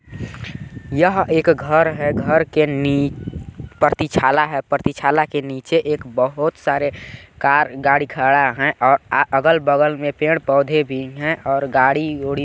यह एक घर है घर के नी प्रतीक्षाला है प्रतिछाला के निचे एक बहुत सारे कार गाडी खड़ा हैं और अगल बगल में पेड़ पौधे भी हैं और गाडी ऑडी भी है और--